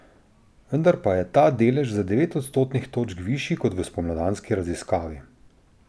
Vendar pa je ta delež za devet odstotnih točk višji kot v spomladanski raziskavi.